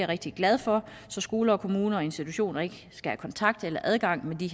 rigtig glad for så skoler kommuner og institutioner ikke skal have kontakt eller adgang til